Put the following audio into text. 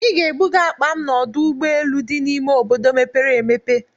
Ị ga-ebuga akpa m n'ọdụ ụgbọ elu dị n'ime obodo mepere emepe!